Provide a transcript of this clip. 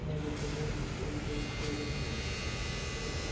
но наказание всё ещё откладывалось